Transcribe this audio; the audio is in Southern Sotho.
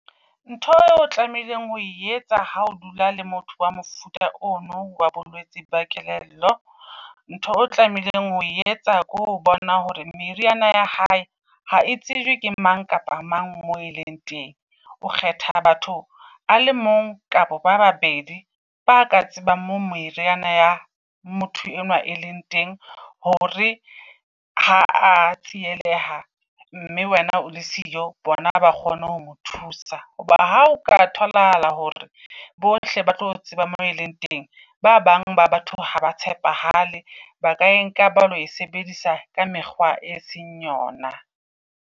Ntho eo o tlameileng ho etsa ha o dula le motho wa mofuta ono wa bolwetse ba kelello. Ntho o tlameileng ho etsa ko ho bona hore meriana ya hae ha e tsebe ke mang kapa mang mo e leng teng. O kgetha batho a le mong kapa ba babedi ba ka tsebang mo meriana ya motho enwa e leng teng. Hore ha a tsieleha mme wena o le siyo, bona ba kgone ho ho mo thusa. Hoba ha o ka tholahala hore bohle ba tlo tseba mo e leng teng. Ba bang ba batho haba tshepahale, ba ka e nka ba lo e sebedisa ka mekgwa e seng yona.